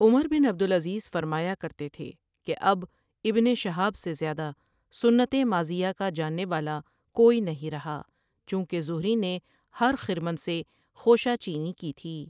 عمر بن عبدالعزیزؓ فرمایا کرتے تھے کہ اب ابن شہاب سے زیادہ سنت ماضیہ کا جاننے والا کوئی نہیں رہا چونکہ زہری نے ہر خرمن سے خوشہ چینی کی تھی۔